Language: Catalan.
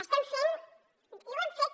estem fent i ho hem fet